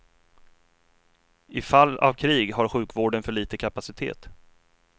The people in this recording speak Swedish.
I fall av krig har sjukvården för liten kapacitet.